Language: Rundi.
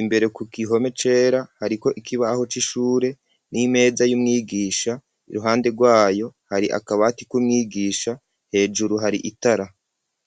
imbere ku gihome cera, hariko ikibaho c'ishure n'imeza y'umwigisha, iruhande rwayo hari akabati k'umwigisha, hejuru hari itara.